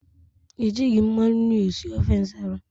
Ejighị mmanụ nri esi ofe Nsala